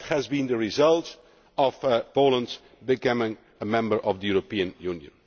That has been the result of Poland becoming a member of the European Union.